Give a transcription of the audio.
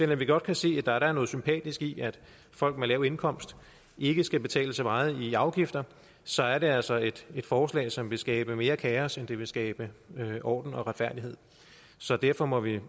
vi da godt kan se at der er noget sympatisk i at folk med lav indkomst ikke skal betale så meget i afgifter så er det altså et forslag som vil skabe mere kaos end det vil skabe orden og retfærdighed så derfor må vi